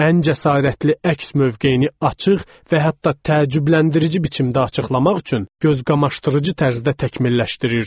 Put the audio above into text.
Ən cəsarətli əks mövqeyini açıq və hətta təəccübləndirici biçimdə açıqlamaq üçün gözqamaşdırıcı tərzdə təkmilləşdirirdi.